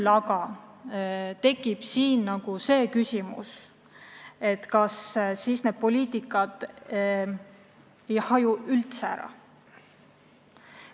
Samas tekib küsimus, kas siis ei haju eri valdkondade poliitikad üldse ära.